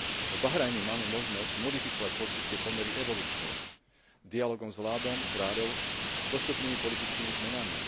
V Bahrajne máme možnosť modifikovať politické pomery evolučne dialógom s vládou, kráľom, postupnými politickými zmenami.